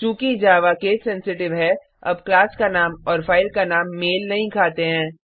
चूँकि Java case sensitive है अब क्लाम का नाम और फाइल का नाम मेल नहीं खाते हैं